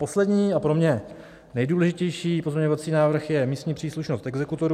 Poslední a pro mě nejdůležitější pozměňovací návrh je místní příslušnost exekutorů.